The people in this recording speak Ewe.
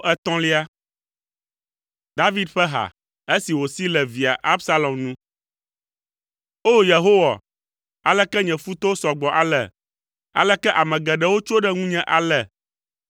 David ƒe ha, esi wòsi le via Absalom nu. O, Yehowa, aleke nye futɔwo sɔ gbɔ ale! Aleke ame geɖewo tso ɖe ŋunye ale!